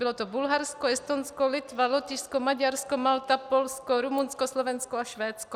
Bylo to Bulharsko, Estonsko, Litva, Lotyšsko, Maďarsko, Malta, Polsko, Rumunsko, Slovensko a Švédsko.